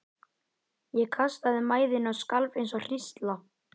Ég kastaði mæðinni og skalf eins og hrísla.